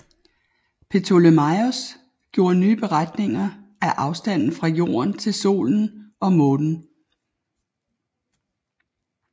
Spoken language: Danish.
Ptolemaios gjorde nye beregninger af afstanden fra jorden til solen og månen